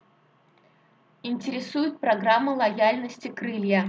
интересует программы лояльности крылья